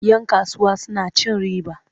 Yan kasuwa suna cin riba.